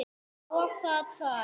Og það tvær.